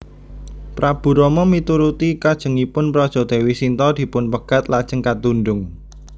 Prabu Rama mituruti kajengipun praja Déwi Sinta dipunpegat lajeng katundhung